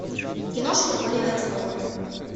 киношки оливера стоуна